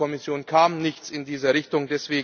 von der Kommission kam nichts in dieser Richtung.